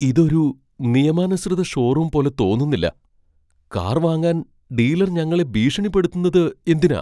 ഇത് ഒരു നിയമാനുസൃത ഷോറൂം പോലെ തോന്നുന്നില്ല. കാർ വാങ്ങാൻ ഡീലർ ഞങ്ങളെ ഭീഷണിപ്പെടുത്തുന്നത് എന്തിനാ ?